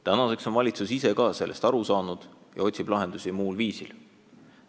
Tänaseks on valitsus ise ka sellest aru saanud ja otsib lahendusi muul viisil.